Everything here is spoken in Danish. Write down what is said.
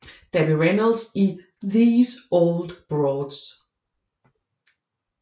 Debbie Reynolds i These Old Broads